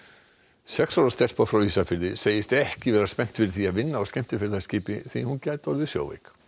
sex ára stelpa frá Ísafirði segist ekki spennt fyrir því að vinna á skemmtiferðaskipi því hún gæti orðið sjóveik